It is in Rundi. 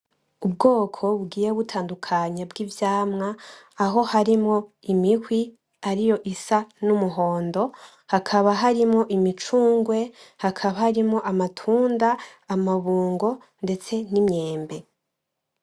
Ubwoko bugiye butandukanye bw’ivyamwa aho harimwo imihwi ariyo isa n’umuhondo, hakaba harimwo imicungwe, hakaba harimwo amatunda, amabungo ndetse n’imyembe.